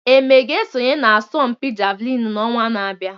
Eme ga-esonye n'asọmpi Javelin n'ọnwa na-abịa.